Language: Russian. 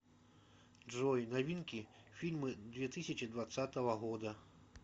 джой новинки фильмы две тысячи двадцатого года